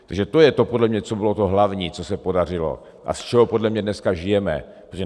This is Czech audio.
Takže to je podle mě to, co bylo to hlavní, co se podařilo a z čeho podle mě dneska žijeme.